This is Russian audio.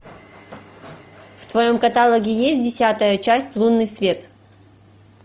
в твоем каталоге есть десятая часть лунный свет